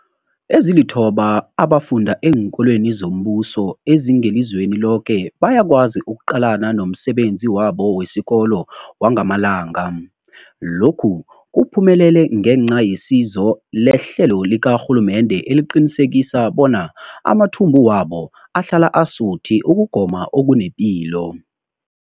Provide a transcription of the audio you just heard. Ezilithoba abafunda eenkolweni zombuso ezingelizweni loke bayakwazi ukuqalana nomsebenzi wabo wesikolo wangamalanga. Lokhu kuphumelele ngenca yesizo lehlelo likarhulumende eliqinisekisa bona amathumbu wabo ahlala asuthi ukugoma okunepilo.